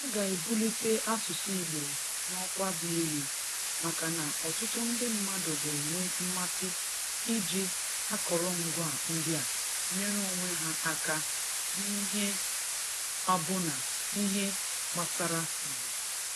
Ọ ga-ebulite asụsụ Igbo n'ọkwa dị elu, maka na ọtụtụ ndị mmadụ ga-enwe mmasị iji akọrọngwa ndị a nyere onwe ha aka n'ihe abụna ihe gbasara Igbo.